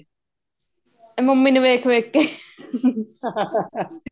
ਇਹ ਮੰਮੀ ਨੂੰ ਵੇਖ ਵੇਖ